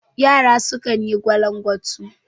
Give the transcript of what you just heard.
Yara sukan yi gwalangwatu